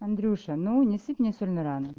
андрюша ну не сыпь мне соль на рану